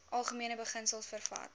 algemene beginsels vervat